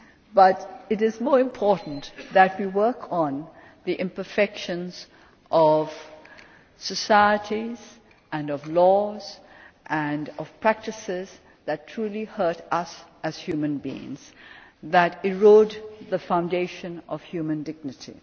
But it is more important that we work on the imperfections of societies and of laws and practices that truly hurt us as human beings and that erode the foundation of human dignity.